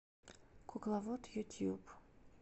кукловод ютьюб